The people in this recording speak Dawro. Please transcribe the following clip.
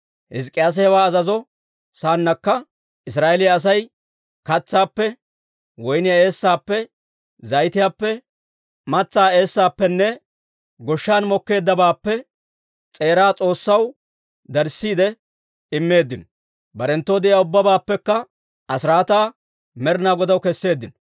Hizk'k'iyaase hewaa azazo saannakka, Israa'eeliyaa Asay katsaappe, woyniyaa eessaappe, zayitiyaappe, matsaa eessaappenne goshshan mokkeeddabaappe s'eeraa S'oossaw darissiide immeeddino; barenttoo de'iyaa ubbabaappekka asiraataa Med'inaa Godaw kesseeddino.